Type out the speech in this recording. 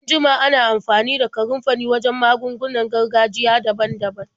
An jima ana amfani da kanunfari wajen magungunan gargajiya daban-daban.